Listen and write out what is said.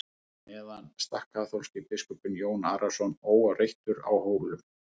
á meðan sat kaþólski biskupinn jón arason óáreittur á hólum